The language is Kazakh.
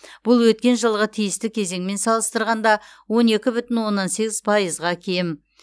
бұл өткен жылғы тиісті кезеңмен салыстырғанда он екі бүтін оннан сегіз пайызға кем